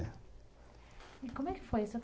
E como é que foi?